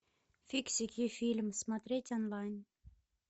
фиксики фильм смотреть онлайн